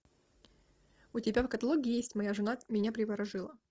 у тебя в каталоге есть моя жена меня приворожила